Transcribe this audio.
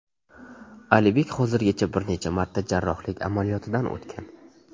Alibek hozirgacha bir necha marta jarrohlik amaliyotidan o‘tgan.